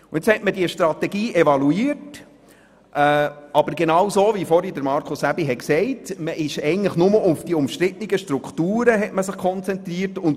Nun hat man diese Strategie evaluiert, aber man hat sich eigentlich nur auf die umstrittenen Strukturen konzentriert, wie auch Grossrat Aebi soeben gesagt hat.